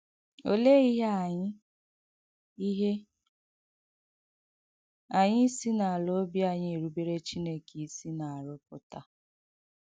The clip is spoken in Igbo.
Òléè ihè anyị ihè anyị isi n’àlà ọ̀bì anyị èrùbèrè Chìnèkè isi na-arụ̀pụta?